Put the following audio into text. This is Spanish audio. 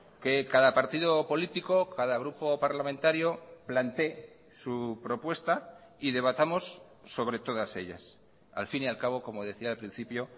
que cada partido político cada grupo parlamentario plantee su propuesta y debatamos sobre todas ellas al fin y al cabo como decía al principio